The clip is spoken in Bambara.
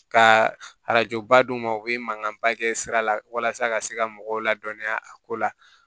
Ka arajoba d'u ma u bɛ mankanba kɛ sira la walasa ka se ka mɔgɔw ladɔniya a ko la